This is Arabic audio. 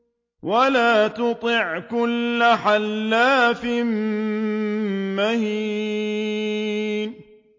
وَلَا تُطِعْ كُلَّ حَلَّافٍ مَّهِينٍ